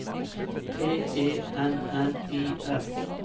T E N N I S